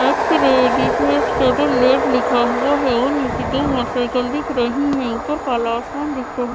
लिखा हुआ है और नीचे दो मोटरसायकल दिख रही हैं और ऊपर काला आसमान दिख रहा--